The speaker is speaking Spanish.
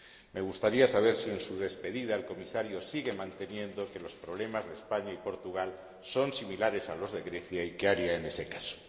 Me gustaría saber si en su despedida el Comisario sigue manteniendo que los problemas de España y Portugal son similares a los de Grecia y qué haría en ese caso.